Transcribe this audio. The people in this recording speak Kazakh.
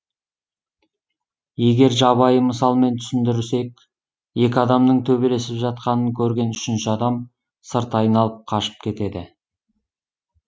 егер жабайы мысалмен түсіндірсек екі адамның төбелесіп жатқанын көрген үшінші адам сырт айналып қашып кетеді